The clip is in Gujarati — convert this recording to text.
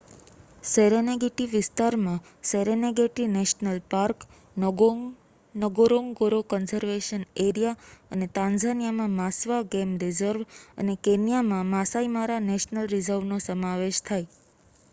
સેરેનેગેટી વિસ્તારમાં Serengeti National Park Ngorongoro Conservation Area અને તાન્ઝાનિયામાં માસ્વા ગેમ રિઝર્વ અને કેન્યામાં માસાઈ મારા નેશનલ રિઝર્વ નો સમાવેશ થાય